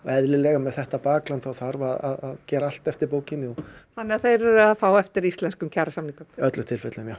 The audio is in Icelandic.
eðlilega með þetta bakland þá þarf að gera allt eftir bókinni þannig að þeir eru að fá eftir íslenskum kjarasamningum í öllum tilfellum já